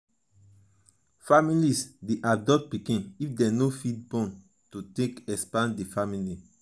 families de adopt pikin if dem no fit born to take expand di family